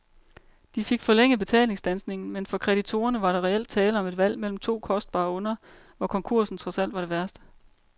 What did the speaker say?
De fik forlænget betalingsstandsningen, men for kreditorerne var der reelt tale om et valg mellem to kostbare onder, hvor konkursen trods alt var det værste.